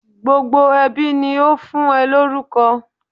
Gbogbo ẹbí ni ó fún ẹ lórúkọ.